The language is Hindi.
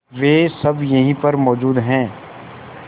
वे सब यहीं पर मौजूद है